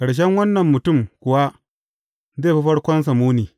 Ƙarshen wannan mutum kuwa zai fi farkonsa muni.